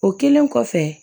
O kɛlen kɔfɛ